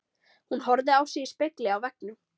Hún horfði á sig í spegli á veggnum.